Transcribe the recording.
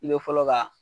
I bɛ fɔlɔ ka